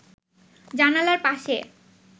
জানালার পাশে